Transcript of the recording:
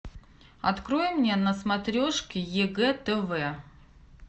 открой мне на смотрешке егэ тв